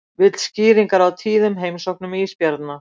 Vill skýringar á tíðum heimsóknum ísbjarna